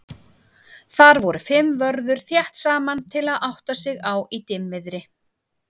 Þar voru fimm vörður þétt saman til að átta sig á í dimmviðri.